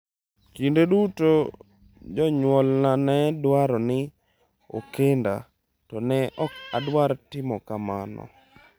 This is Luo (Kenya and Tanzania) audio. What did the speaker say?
“Kinde duto jonyuolna ne dwaro ni okenda—to ne ok adwar timo kamano.”